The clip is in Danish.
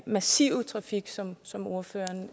massive trafik som som ordføreren